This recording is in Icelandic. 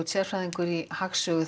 sérfræðingur í hagsögu